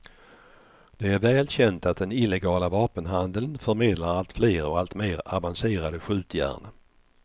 Det är väl känt att den illegala vapenhandeln förmedlar allt fler och alltmer avancerade skjutjärn.